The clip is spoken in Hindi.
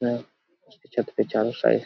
यह छत पे चारो साइड --